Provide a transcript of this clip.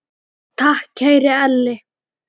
Takk, kæri Elli.